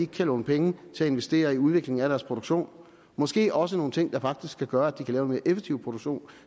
kan låne penge til investere i udvikling af deres produktion måske også nogle ting der faktisk kan gøre at de kan lave en mere effektiv produktion